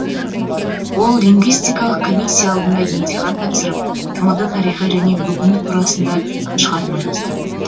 ол лингвистикалық комиссия алдында емтихан тапсырып тмд тарихы және бүгіні турасында шығарма жазды